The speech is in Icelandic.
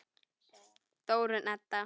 Þórunn Edda.